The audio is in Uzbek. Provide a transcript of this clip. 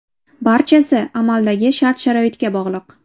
Barchasi amaldagi shart-sharoitga bog‘liq.